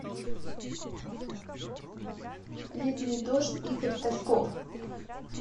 летний дождь игорь тальков